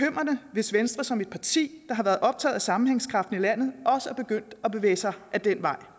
hvis venstre som et parti der har været optaget af sammenhængskraften i landet også er begyndt at bevæge sig ad den vej